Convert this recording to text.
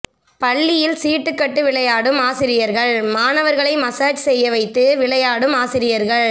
பள்ளியில் சீட்டுக்கட்டு விளையாடும் ஆசிரியர்கள் மாணவர்களை மசாஜ் செய்யவைத்து விளையாடும் ஆசிரியர்கள்